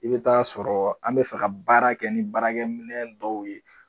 I bɛ t'a sɔrɔ an bɛ fɛ ka baara kɛ ni baarakɛminɛ dɔw ye